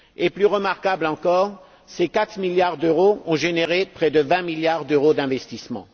Plus remarquable encore, ces 4 milliards d'euros ont généré près de 20 milliards d'euros d'investissement.